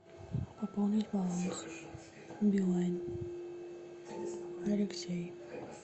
пополнить баланс билайн алексей